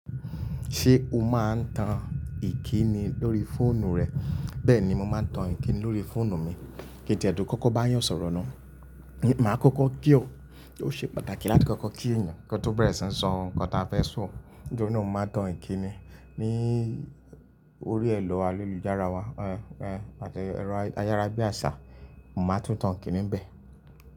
Ṣé o máa ń tan ìkíni lórí fóònù rẹ? Bẹ́ẹ̀ ni mo máa ń tan ìkíni lórí fóònù mi. Kí diẹ̀ ẹdùn kọ́kọ́ bá yàn sọ̀rọ̀ náà, màá kọ́kọ́ kí ọ, kó ṣe pàtàkì láti kọ́kọ́ kí ènìyàn kó tó bẹ̀rẹ̀ síí sọ ohun tí a fẹ́ sọ. Nítorina mo máa tan ìkíni. Ní orí ẹ̀rọ ayélujára wa àti ayárá bí àṣá, mo máa tún tan ìkíni bẹ́ẹ̀.